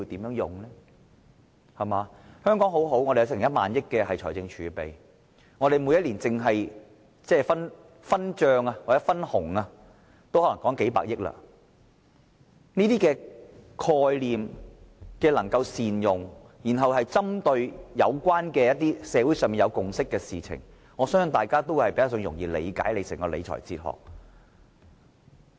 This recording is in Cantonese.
香港很好，我們有1萬億元財政儲備，每年單是分帳或分紅也可能有數百億元，如果能夠善用這些概念，然後針對社會上有共識的事情來處理，我相信大家會較容易理解他整個理財哲學。